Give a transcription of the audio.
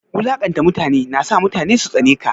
Wulanƙanta mutane na sa mutane su tsane ka.